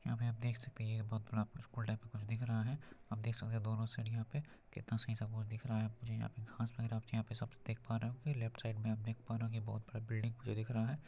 यहाँ पे आप देख सकते है ये बहुत बड़ा आपको स्कूल टाइप का कुछ दिख रहा है आप देख सकते है दोनों साइड यहाँ पे कितना सही से आपको दिख रहा है मुझे यहाँ पर घास वैगरा मुझे यहाँ पर सब कुछ देख पा रहे हो लेफ्ट साइड में आप देख पा रहे होंगे ये बहुत बड़ा बिल्डिंग मुझे दिख रहा है।